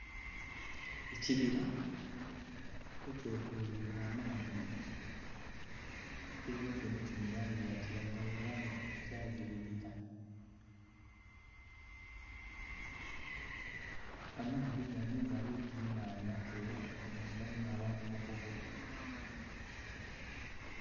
Ekibira ekyetoloire amaadhi, ekibira kino kiri mu langi ya kiragala era nga kyazibirira. Amaadhi gano gali oti nnhandha era gayamba inho abantu mu kuvuba.